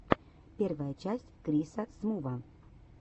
первая часть криса смува